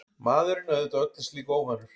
Maðurinn auðvitað öllu slíku óvanur.